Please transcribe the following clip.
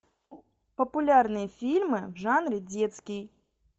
популярные фильмы в жанре детский